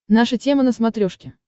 наша тема на смотрешке